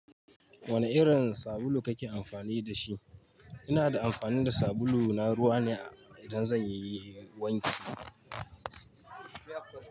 Wane irin sabulu kake amfani da shi? Ina da amfani da sabulu na ruwa ne idan zan yi wanki.